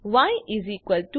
ય 25